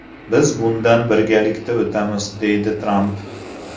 Biz bundan birgalikda o‘tamiz!”, deydi Tramp.